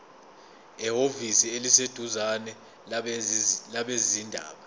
ehhovisi eliseduzane labezindaba